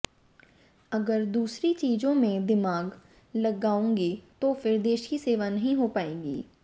अगर दूसरी चीजों में दिमाग लगाऊंगी तो फिर देश की सेवा नहीं हो पाएगी